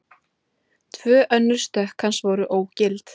Tvö önnur stökk hans voru ógild